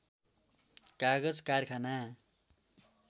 कागज कारखाना